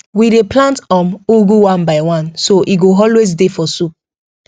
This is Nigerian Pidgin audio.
we dey plant um ugu one by one so e go always dey for soup